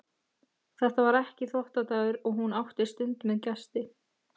Þetta var ekki þvottadagur og hún átti stund með gesti.